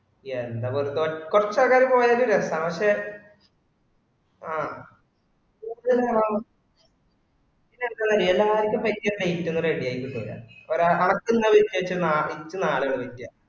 എന്താകൊയപ്പം കുറച് ആൾക്കാര് പോയാ രസാണ് പക്ഷെ ആഹ് ready ആയി കിട്ടൂല. ഒരാക്കന്ന വിശേശം നാട്ടിൾക്ക് നാളെ വിളിക്ക